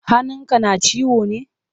Hannun ka na ciwo ne?